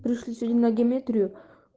пришли сегодня на геометрию